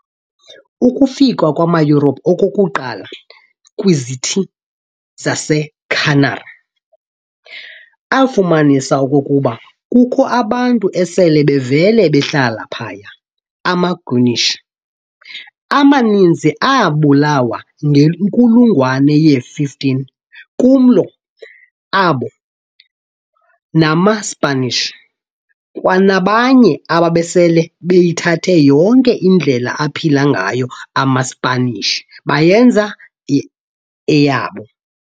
Ukufika kwamaYurophu okokuqala kwizithi zaseCanary, afumanisa okokuba kukho abantu esele bevele behlala phaya. Ama-Guanches amaninzi aabulawa ngenkulungwane ye-15, kumlo wabo namaSipanish, kwanabanye ababesele beyithathe yonke indlela aphila ngayo amaSipanishi bayenza eyabo.